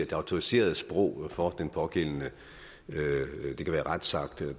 det autoriserede sprog for den pågældende retsakt eller